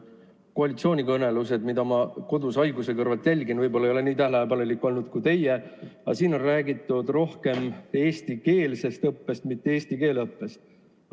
Koalitsioonikõnelustel, mida ma kodus haiguse kõrvalt jälgin – võib-olla ma ei ole nii tähelepanelik olnud kui teie –, on räägitud rohkem eestikeelsest õppest, mitte eesti keele õppest.